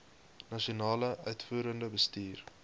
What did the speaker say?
nasionale uitvoerende bestuur